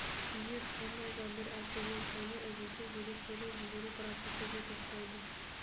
егер қандай да бір әсерден сәуле үзілсе деректерді жіберу процесі де тоқтайды